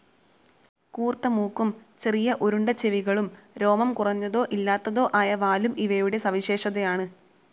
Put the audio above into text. കൂർത്ത മൂക്കും ചെറിയ റൌണ്ട്‌ ചെവികളും, രോമം കുറഞ്ഞതോ ഇല്ലാത്തതോ ആയ വാലും ഇവയുടെ സവിശേഷതയാണ്.